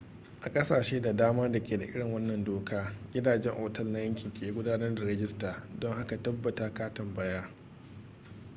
a ƙasashe da dama da ke da irin wannan doka gidajen otal na yanki ke gudanar da rijistar don haka tabbata ka tambaya